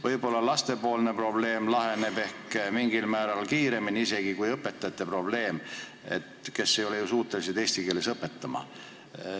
Võib-olla laste probleem laheneb ehk isegi mingil määral kiiremini kui õpetajate probleem, kes ei ole ju suutelised eesti keeles õpetama.